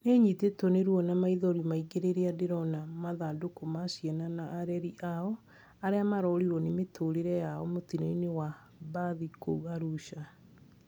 Nĩnyitĩtwo nĩ ruo na maithori maingĩ rĩrĩa ndĩrona mathandũkũ ma ciana na areri ao arĩa marorirwo nĩ mĩtũrire yao mũtino-inĩ wa mbathi kũu Arusha